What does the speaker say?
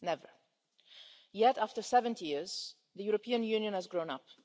Never. Yet, after 70 years, the European Union has grown up.